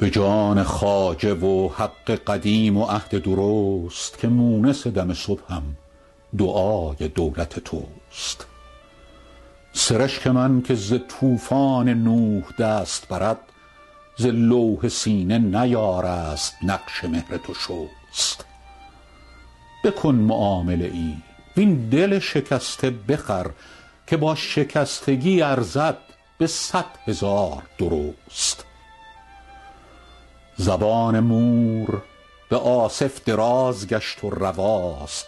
به جان خواجه و حق قدیم و عهد درست که مونس دم صبحم دعای دولت توست سرشک من که ز طوفان نوح دست برد ز لوح سینه نیارست نقش مهر تو شست بکن معامله ای وین دل شکسته بخر که با شکستگی ارزد به صد هزار درست زبان مور به آصف دراز گشت و رواست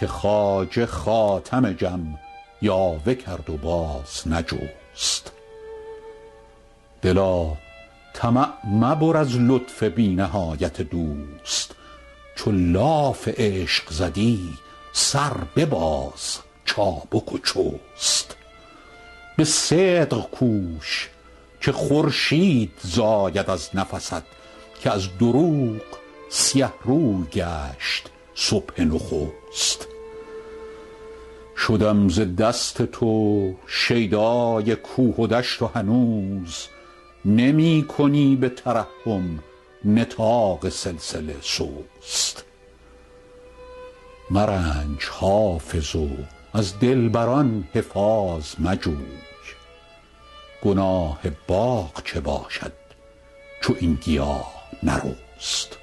که خواجه خاتم جم یاوه کرد و باز نجست دلا طمع مبر از لطف بی نهایت دوست چو لاف عشق زدی سر بباز چابک و چست به صدق کوش که خورشید زاید از نفست که از دروغ سیه روی گشت صبح نخست شدم ز دست تو شیدای کوه و دشت و هنوز نمی کنی به ترحم نطاق سلسله سست مرنج حافظ و از دلبر ان حفاظ مجوی گناه باغ چه باشد چو این گیاه نرست